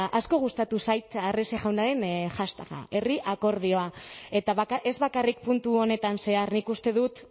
asko gustatu zait arrese jaunaren hashtaga eta ez bakarrik puntu honetan zehar nik uste dut